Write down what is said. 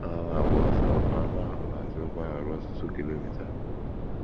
Ha na - agba ọsọ, aṅụ ahụ na - achụrụkwa ha ruo ọtụtụ kilomita. ”